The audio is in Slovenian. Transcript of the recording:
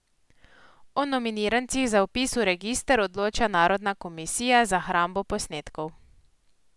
O nominirancih za vpis v register odloča narodna komisija za hrambo posnetkov.